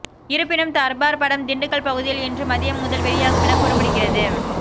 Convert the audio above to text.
இருப்பினும் தர்பார் படம் திண்டுக்கல் பகுதியில் இன்று மதியம் முதல் வெளியாகும் என கூறப்படுகிறது